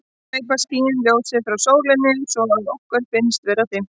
þá gleypa skýin ljósið frá sólinni svo að okkur finnst vera dimmt